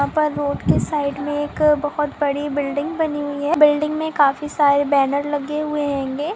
यहां पर रूट की साइड में एक बोहोत बडी बिल्डिंग बनी है। बिल्डिंग में काफी सारे बैनर लगे हुए है।